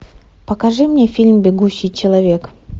покажи мне фильм бегущий человек